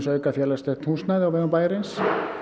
auka félagslegt húsnæði á vegum bæjarins